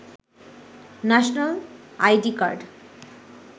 national ID card